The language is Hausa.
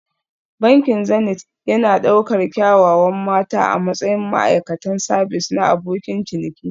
Bankin Zenith yana ɗaukar kyawawan mata a matsayin ma'aikatan sabis na abokin ciniki